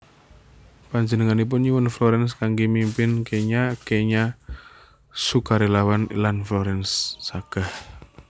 Panjenenganipun nyuwun Florence kanggé mimpin kenya kenya sukarelawan lan Florence sagah